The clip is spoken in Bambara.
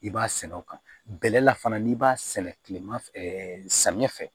I b'a sɛnɛ o kan bɛlɛ la fana n'i b'a sɛnɛ kilema fɛ samiyɛ fɛ